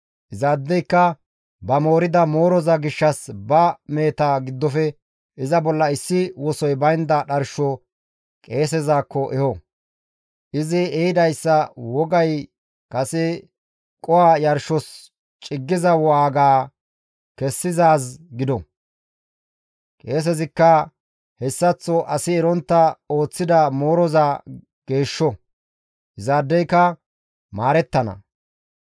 Izaadeyka ba moorida mooroza gishshas ba meheta giddofe iza bolla issi wosoy baynda dharsho qeesezakko eho; izi ehidayssa wogay kase qoho yarshos ciggiza waaga kessizaaz gido; qeesezikka hessaththo asi erontta ooththida mooroza geeshsho; izaadeyka maarettana.